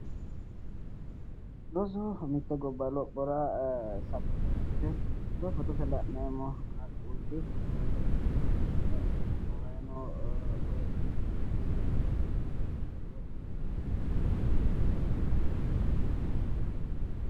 rosu mitte gobba lophora safote yaate koye fotote la'nemmo qaaqquulli nabbawayi noota leellishshanno misileeti